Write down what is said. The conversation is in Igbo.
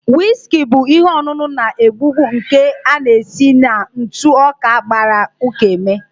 Whiski bụ ihe ọṅụṅụ na-egbu egbu nke a na-esi na ntụ ọka gbara uka eme